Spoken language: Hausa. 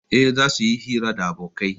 Eh, zasu yi hira da abokai